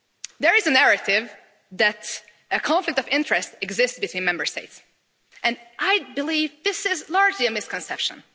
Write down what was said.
There is a narrative that a conflict of interest exists between Member States, and I believe this is largely a misconception.